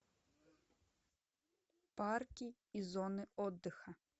парки и зоны отдыха